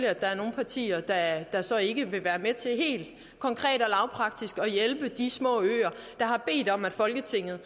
at der er nogle partier der så ikke vil være med til helt konkret og lavpraktisk at hjælpe de små øer der har bedt om at folketinget